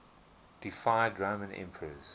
deified roman emperors